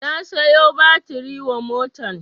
Na siyo batiri wa motan